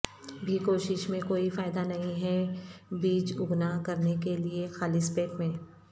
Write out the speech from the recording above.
بھی کوشش میں کوئی فائدہ نہیں ہے بیج اگنا کرنے کے لئے خالص پیٹ میں